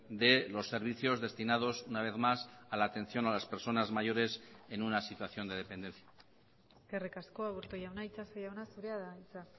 de los servicios destinados una vez más a la atención a las personas mayores en una situación de dependencia eskerrik asko aburto jauna itxaso jauna zurea da hitza